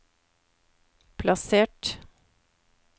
plassert